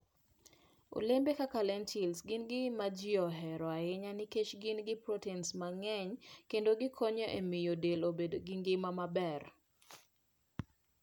Olembe kaka lentil gin ma ji ohero ahinya nikech gin gi protein mang'eny kendo gikonyo e miyo del obed gi ngima maber.